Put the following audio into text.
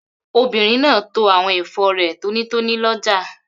Obìnrin náà to àwọn ẹ̀fọ́ rẹ̀ tónítóní lọ́jà.